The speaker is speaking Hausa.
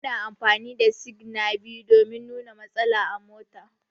Muna amfani da signa biyu domin nuna matsala a mota.